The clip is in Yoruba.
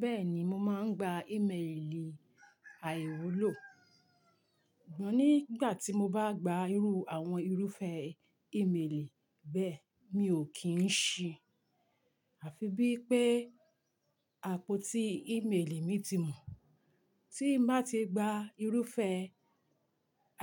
Bẹ́ẹ̀ni, mo máa ń gba ímeèlì àìwúlò. Ṣùgbọ́n nígbà tí mo bá gba irú àwọn irúfẹ́ ímeèlì bẹ́ẹ̀, mi ò kì í ṣìí, àfi bí pé àpótí ímeèlì mi ti mọ̀. Tí mo bá ti gba irúfẹ́